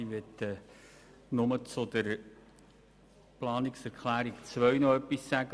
Ich möchte nur zur Planungserklärung 2 noch etwas sagen.